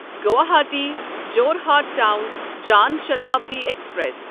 Guwahati Jorhat Town Jan Shatabdi express